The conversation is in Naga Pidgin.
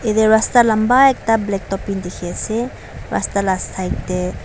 ete rasta lamba ekta black topping dikhiase rasta la side tae.